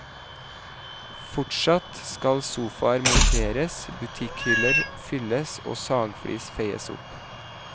Fortsatt skal sofaer monteres, butikkhyller fylles og sagflis feies opp.